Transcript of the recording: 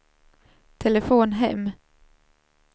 telefon hem